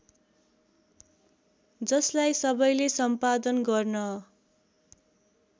जसलाई सबैले सम्पादन गर्न